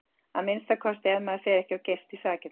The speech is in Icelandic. Að minnsta kosti ef maður fer ekki of geyst í sakirnar.